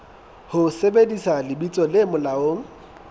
ho sebedisa lebitso le molaong